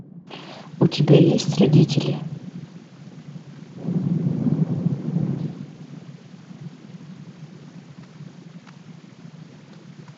у тебя есть родители